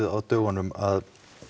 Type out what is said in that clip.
á dögunum að